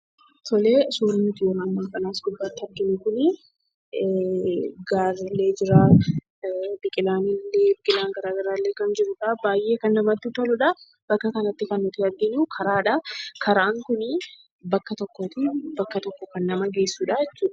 Suurri nuti as gubbaatti argaa jirru kun gaarrillee jira, biqilaan garaagaraallee jira baay'ee kan namatti toludha. Bakka kanatti kan nuti arginu karaadha. Karaan kun bakka tokkoo bakka biraa kan nama geessudha jechuudha.